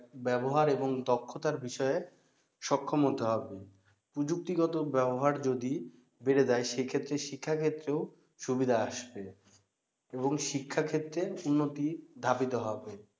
ব্যাবহার এবং দক্ষতার বিষয়ে সক্ষম হতে হবে প্রযুক্তিগত ব্যাবহার যদি বেড়ে যায় সেক্ষেত্রে শিক্ষাক্ষেত্রেও সুবিধা আসবে এবং শিক্ষা ক্ষেত্রে উন্নতি ধাবিত হবে